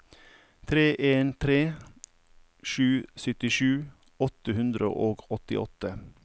tre en tre sju syttisju åtte hundre og åttiåtte